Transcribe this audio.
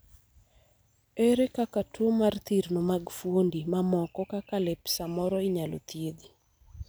ere kaka tuo mar thirno mag fuondi mamoko kaka lep samoro inyalo thiedhi?